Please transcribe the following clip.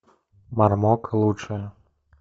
мармок лучшее